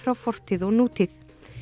fortíð og nútíð